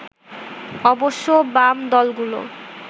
অবশ্য বাম দলগুলো